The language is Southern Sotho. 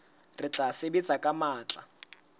re tla sebetsa ka matla